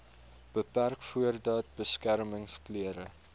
beperk voordat beskermingsklere